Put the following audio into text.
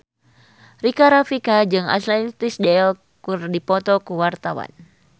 Rika Rafika jeung Ashley Tisdale keur dipoto ku wartawan